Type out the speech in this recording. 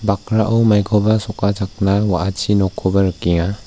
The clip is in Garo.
bakrao maikoba sokachakna wa·achi nokkoba rikenga.